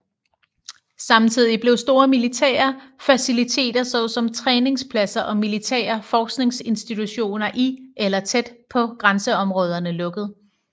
Samtidig blev store militære faciliteter såsom træningspladser og militære forskningsinstitutioner i eller tæt på grænseområderne lukket